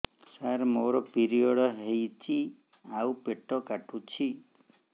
ସାର ମୋର ପିରିଅଡ଼ ହେଇଚି ଆଉ ପେଟ କାଟୁଛି